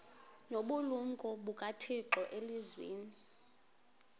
nobulumko bukathixo elizwini